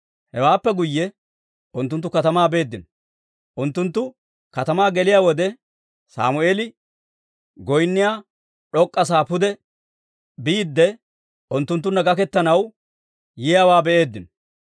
Hewaappe guyye unttunttu katamaa beeddino; unttunttu katamaa geliyaa wode, Sammeeli goynniyaa d'ok'k'a sa'aa pude biidde, unttunttunna gaketanaw yiyaawaa be'eeddino.